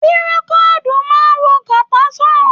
Pirokodu máa n wo kata san.